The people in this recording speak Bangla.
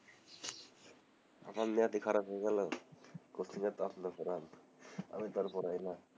আমার নিয়ত ই খারাপ হয়ে গেলো কোচিং এ তো আপনি পড়ান আমি তো পড়াই না,